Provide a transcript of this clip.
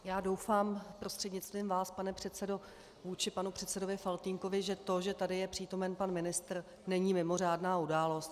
Já doufám, prostřednictvím vás, pane předsedo, vůči panu předsedovi Faltýnkovi, že to, že tady je přítomen pan ministr, není mimořádná událost.